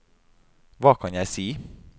hva kan jeg si